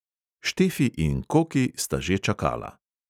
Štefi in koki sta že čakala.